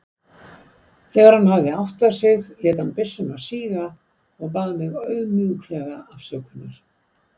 Þegar hann hafði áttað sig lét hann byssuna síga og bað mig auðmjúklega afsökunar.